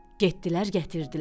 Getdilər, gətirdilər.